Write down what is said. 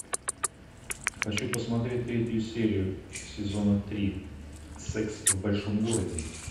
хочу посмотреть третью серию сезона три секс в большом городе